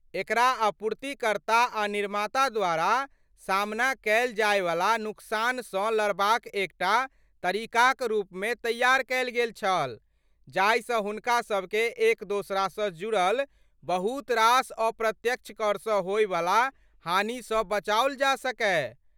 एकरा आपूर्तिकर्ता आ निर्माता द्वारा सामना कयल जायवला नुकसानसँ लड़बाक एकटा तरीकाक रूपमे तैयार कयल गेल छल जाहिसँ हुनका सबकेँ एक दोसरासँ जुड़ल बहुतरास अप्रत्यक्ष करसँ होइवला हानिसँ बचाओल जा सकय।